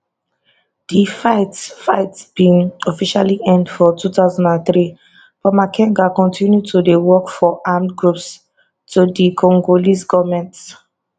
di fightfight bin officially end for 2003 but makenga continue to dey work for armed groups to di congolese goment